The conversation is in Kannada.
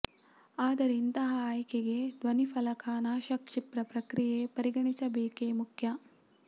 ಆದರೆ ಇಂತಹ ಆಯ್ಕೆಗೆ ಧ್ವನಿಫಲಕ ನಾಶ ಕ್ಷಿಪ್ರ ಪ್ರಕ್ರಿಯೆ ಪರಿಗಣಿಸಬೇಕೆ ಮುಖ್ಯ